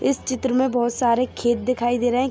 इस चित्र में बहुत सारे खेत दिखाई दे रहे है।